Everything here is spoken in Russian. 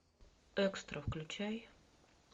экстра включай